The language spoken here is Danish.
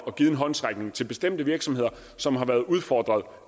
og givet en håndsrækning til bestemte virksomheder som har været udfordret